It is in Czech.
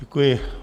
Děkuji.